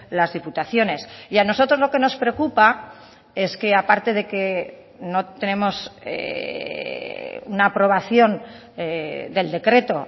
las diputaciones y a nosotros lo que nos preocupa es que aparte de que no tenemos una aprobación del decreto